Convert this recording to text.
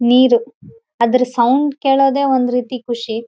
ಆಕಾಶವನ್ನು ಕಾಣಿಸು.